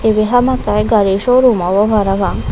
ibe hamakai gari showroom obo prapang.